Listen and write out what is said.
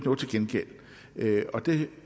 gengæld og det